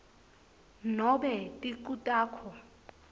nobe ticu takho